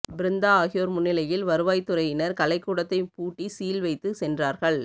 பிருந்தா ஆகியோர் முன்னிலையில் வருவாய்த்துறையினா் கலைக்கூடத்தை பூட்டி சீல் வைத்து சென்றார்கள்